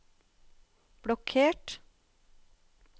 blokkert